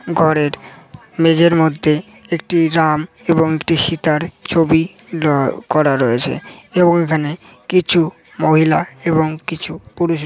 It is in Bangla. ঘরের মেঝের মধ্যে একটি রাম এবং একটি সিতার ছবি ড্র করা রয়েছে এবং এখানে কিছু মহিলা এবং কিছু পুরুষ--